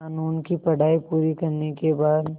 क़ानून की पढा़ई पूरी करने के बाद